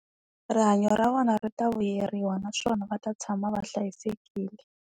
Rihanyo ra vona ri ta vuyeriwa naswona va ta tshama va hlayisekile.